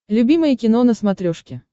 любимое кино на смотрешке